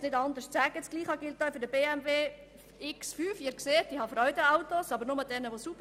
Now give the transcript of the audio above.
Dasselbe gilt auch für den BMW X5, xDrive, 40D. – Sie sehen, ich habe Freude an Autos, aber nur an sauberen.